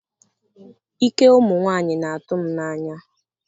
ike ụmụ nwanyị na-atụ m n'anya